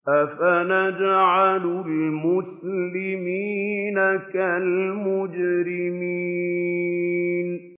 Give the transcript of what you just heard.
أَفَنَجْعَلُ الْمُسْلِمِينَ كَالْمُجْرِمِينَ